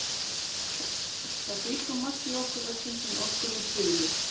Það býr svo margt í okkur öllum sem okkur er hulið.